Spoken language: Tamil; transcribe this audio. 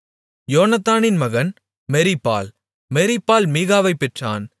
யோனத்தானின் மகன் மெரிபால் மெரிபால் மீகாவைப் பெற்றான்